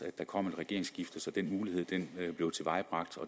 der kom et regeringsskifte så den mulighed blev tilvejebragt